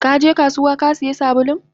Kaje kasuwa Kasiya sabulun?